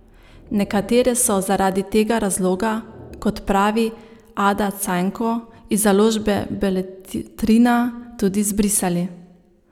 Nekatere so zaradi tega razloga, kot pravi Ada Cajnko iz založbe Beletrina, tudi zbrisali.